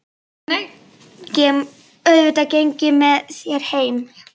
Auðvitað geng ég með þér heim